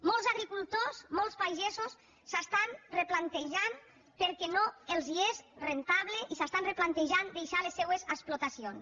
molts agricultors molts pagesos s’ho estan replantejant perquè no els és rendible i s’estan replantejant les seues explotacions